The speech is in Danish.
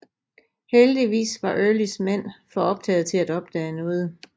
Heldigvis var Earlys mænd for optagede til at opdage noget